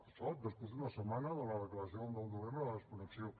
això després d’una setmana de la declaració del nou de novembre de la desconnexió